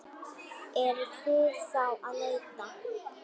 Eruð þið þá að leita?